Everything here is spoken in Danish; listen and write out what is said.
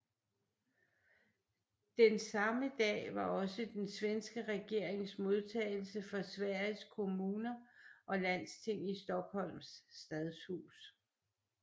Den samme dag var også den svenske regerings modtagelse for Sveriges kommuner og landsting i Stockholms Stadshus